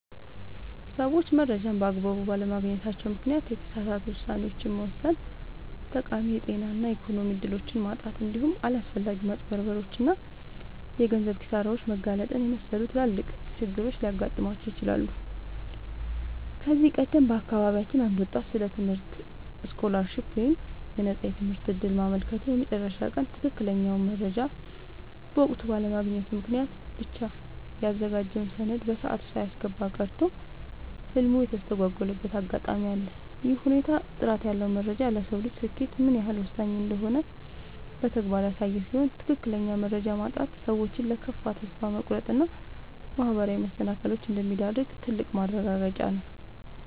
ሰዎች መረጃን በአግባቡ ባለማግኘታቸው ምክንያት የተሳሳቱ ውሳኔዎችን መወሰን፣ ጠቃሚ የጤና እና የኢኮኖሚ እድሎችን ማጣት፣ እንዲሁም ለአላስፈላጊ ማጭበርበሮች እና የገንዘብ ኪሳራዎች መጋለጥን የመሰሉ ትላልቅ ችግሮች ሊገጥሟቸው ይችላሉ። ከዚህ ቀደም በአካባቢያችን አንድ ወጣት ስለ ትምህርት ስኮላርሺፕ (የነፃ ትምህርት ዕድል) ማመልከቻ የመጨረሻ ቀን ትክክለኛውን መረጃ በወቅቱ ባለማግኘቱ ምክንያት ብቻ ያዘጋጀውን ሰነድ በሰዓቱ ሳያስገባ ቀርቶ ህልሙ የተስተጓጎለበት አጋጣሚ አለ። ይህ ሁኔታ ጥራት ያለው መረጃ ለሰው ልጅ ስኬት ምን ያህል ወሳኝ እንደሆነ በተግባር ያሳየ ሲሆን፣ ትክክለኛ መረጃ ማጣት ሰዎችን ለከፋ ተስፋ መቁረጥ እና ማህበራዊ መሰናክሎች እንደሚዳርግ ትልቅ ማረጋገጫ ነው።